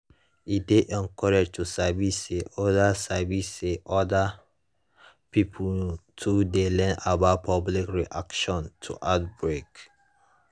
e dey encouraging to sabi say other sabi say other pipo too dey learn about public reaction to outbreak